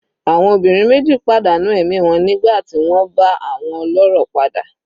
Àwọn obìnrin meji padà nù ẹ̀mí wọn nígbà tí wọ́n bá àwọn olórò pàdé.